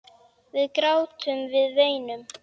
Við grátum, við veinum.